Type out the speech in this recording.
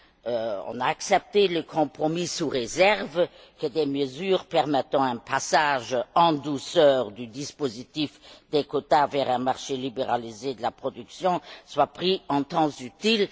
Nous avons accepté le compromis sous réserve que des mesures permettant un passage en douceur du dispositif des quotas vers un marché libéralisé de la production soient prises en temps utile.